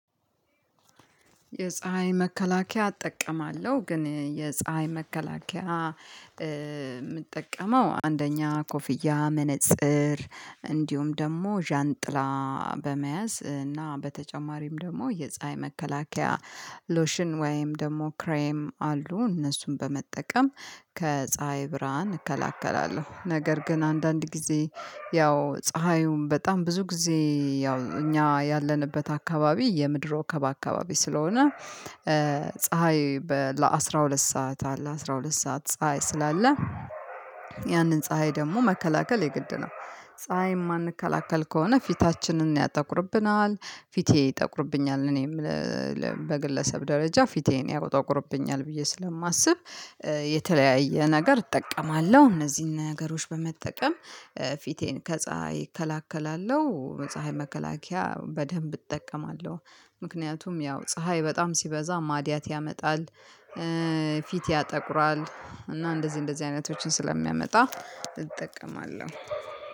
የፀሀይ መከላከያ እጠቀማለሁ ግን የፀሀይ መከላከያ የምጠቀመው አንደኛ ኮፍያ መነፅር እንዲሁም ደግሞ ዣንጥላ በመያዝ እና በተጨማሪም ደግሞ የፀሀይ መከላከያ ሎሽን ወይም ደግሞ ክሬም አሉ እነሱን በመጠቀም ከፀሀይ ብርሃን እከላከላለሁ። ነገር ግን አንዳንድ ጊዜ ያው ፀሀዩን በጣም ብዙ ጊዜ ያው እኛ ያለንበት አካባቢ የምድር ወገብ አካባቢ ስለሆነ ፀሀይ ለአሥራ ሁለት ሰዓት አለ አስራ ሁለት ሰዓት ፀሀይ ስላለ ያንን ፀሀይ ደግሞ መከላከል የግድ ነው። ፀሀይ የማንከላከል ከሆነ ፊታችንን ያጠቁርብናል ፊቴ ይጠቁርብኛል። እኔም በግለሰብ ደረጃ ፊቴን ያጠቁርብኛል ብዬ ስለማስብ የተለያየ ነገር እጠቀማለሁ። እነዚህን ነገሮች በመጠቀም ፊቴን ከፀሀይ እከላከላለሁ። ፀሀይ መከላከያ በደንብ እጠቀማለሁ ምክንያቱም ያው ፀሀይ በጣም ሲበዛ ማድያት ያመጣል። ፊት ያጠቁራል እና እንደዚህ እንደዚህ አይነቶችን ስለሚያመጣ እጠቀማለሁ።